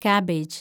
cabbage